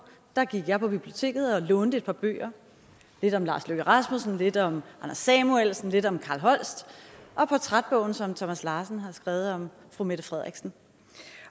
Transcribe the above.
gik jeg på biblioteket og lånte et par bøger lidt om lars løkke rasmussen lidt om anders samuelsen lidt om carl holst og portrætbogen som thomas larsen har skrevet om fru mette frederiksen